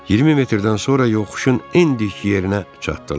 20 metrdən sonra yoxuşun ən dik yerinə çatdılar.